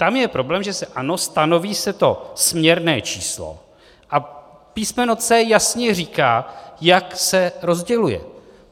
Tam je problém, že se, ano, stanoví se to směrné číslo a písmeno c) jasně říká, jak se rozděluje.